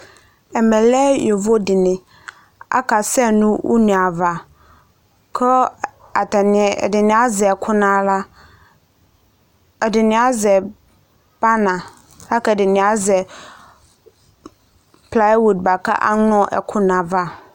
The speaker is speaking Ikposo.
Ɛmɛ lɛ yovo dɩnɩ, akasɛ nʋ une ava, kʋ ɛdɩnɩ azɛ ɛkʋ nʋ aɣla, ɛdɩnɩ azɛ pana, la kʋ ɩdɩnɩ azɛ plawud bʋa kʋ aŋlɔ ɛkʋ nʋ ayava